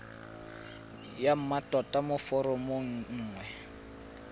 ya mmatota mo foromong nngwe